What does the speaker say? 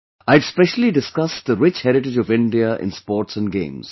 I had specially discussed the rich heritage of India in Sports and Games